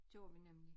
Gjorde vi nemlig